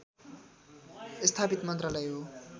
स्थापित मन्त्रालय हो